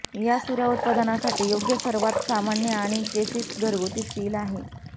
या सुऱ्या उत्पादनासाठी योग्य सर्वात सामान्य आणि चेसिस घरगुती स्टील आहे